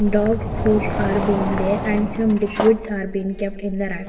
Dog foods are being there and some liquids are been kept in the rack.